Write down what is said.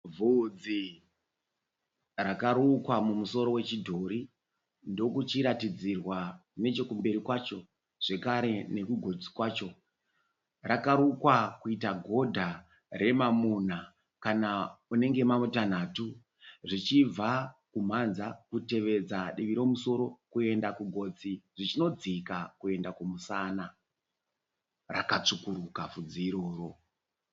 Bvudzi rakarukwa mumusoro wechidhori ndokuchiratidzirwa nechekumberi kwacho zvekare nekugotsi kwacho. Rakarukwa kuita godha remamuna kana unenge mamutanhatu . Zvichibva kumhanza kutevedza divi remusoro kuenda kugotsi zvichinodzika kumusana . Rakatsvukuruka bvudzi iroro.